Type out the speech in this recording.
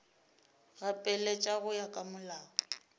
gapeletša go ya ka molao